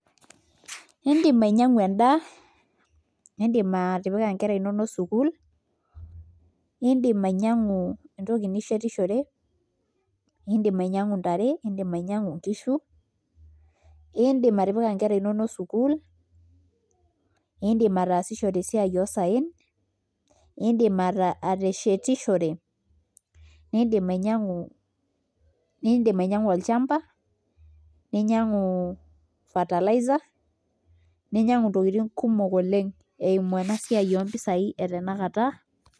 Iindim ainyiang'u endaa iidim atipika nkera inonok sukuul iidim ainyiang'u entoki nishetishore iidim inyiang'u ntare iidim inyiang'u nkishu iindim atipika nkera inonok sukuul iidim ataasishore esiai oosaen iindim ateshetishore iindim ainyiang'u olchamba ninyiang'u fertilizer ninyiang'u ntokitin kumok oleng' eimu ena siai ompisaai e tanakata.